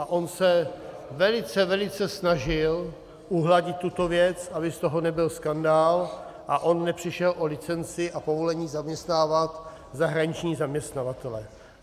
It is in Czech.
A on se velice, velice snažil uhladit tuto věc, aby z toho nebyl skandál a on nepřišel o licenci a povolení zaměstnávat zahraniční zaměstnavatele (?).